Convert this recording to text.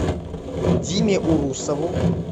диме урусову